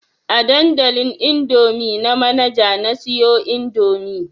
A dandalin indomie na Manaja na siyo indomie